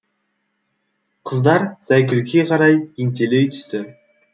қыздар зайкүлге қарай ентелей түсті